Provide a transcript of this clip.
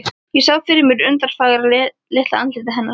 Ég sá fyrir mér undurfagra, litla andlitið hennar.